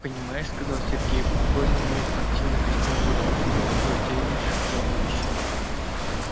понимаешь сказал сергей уж больно у неё спортивный костюм был смешной такой обтягивающий-обтягивающий